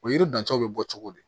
O yiri dancɛw bɛ bɔ cogo di